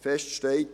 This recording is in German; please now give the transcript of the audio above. Fest steht: